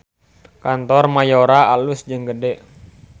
Kantor Mayora alus jeung gede